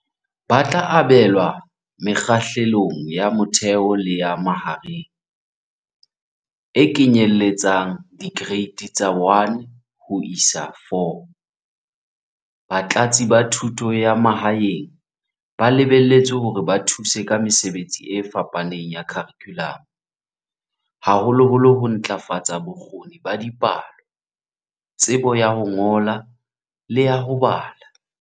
"Ba tla abelwa Mekgahlelong ya Motheo le ya Mahareng, e kenyelletsang Dikereiti tsa 1 ho isa 4."Batlatsi ba Thuto ya Ma haeng ba lebelletswe hore ba thuse ka mesebetsi e fapaneng ya kharikhulamo, haholoholo ho ntlafatsa bo kgoni ba dipalo, tsebo ya ho ngola le ya ho bala.